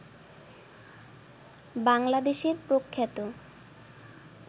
বাংলাদেশের প্রখ্যাত